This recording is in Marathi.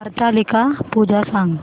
हरतालिका पूजा सांग